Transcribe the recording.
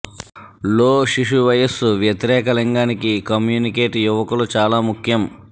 లో శిశు వయస్సు వ్యతిరేక లింగానికి కమ్యూనికేట్ యువకులు చాలా ముఖ్యం